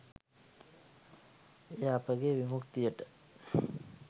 එය අපගේ විමුක්තියට